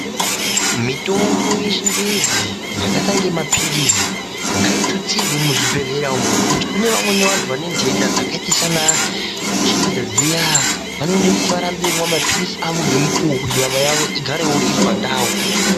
Mitombo yeChiNgezi yakaita inge maphilizi ngaitutsirwe muzvibhedhlera umu, ngokuti kune vamweni vantu vane ndenda dzakaite sanaKenza dziya, vanode kuti varambe veimwa mapiritsi avo ngemukuwo kuti nyama yavo igarewo iri pandau.